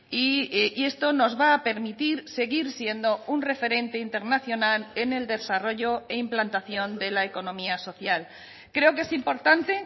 y esto nos va a permitir seguir siendo un referente internacional en el desarrollo e implantación de la economía social creo que es importante